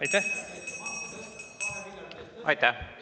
Aitäh!